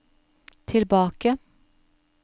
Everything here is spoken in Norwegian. tilbake